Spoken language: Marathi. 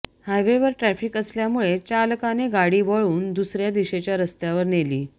हायवेवर ट्रॅफिक असल्यामुळे चालकाने गाडी वळून दुसऱ्या दिशेच्या रस्त्यावर नेली